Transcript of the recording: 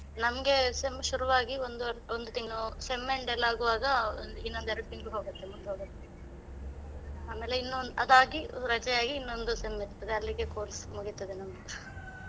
ನಮ್ಗೆ sem ಶುರುವಾಗಿ ಒಂದೂವರೆ ಒಂದು ತಿಂಗಳು sem end ಎಲ್ಲಾ ಆಗುವಾಗ ಒಂದು ಇನ್ನೊಂದೆರಡು ತಿಂಗ್ಳು ಹೋಗುತ್ತೆ ಮುಗ್ದು ಹೋಗುತ್ತೆ, ಆಮೇಲೆ ಇನ್ನೊಂದು ಅದಾಗಿ ರಜೆ ಆಗಿ ಇನ್ನೊಂದು sem ಇರ್ತದೆ ಅಲ್ಲಿಗೆ course ಮುಗೀತದೆ ನಮ್ದು .